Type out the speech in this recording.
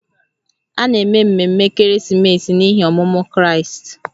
A na-eme ememe ekeresimesi n’ihi ọmụmụ Kraịst